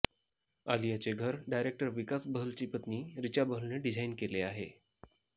आलियाचे घर डायरेक्टर विकास बहलची पत्नी रिचा बहलने डिझाइन केले आहे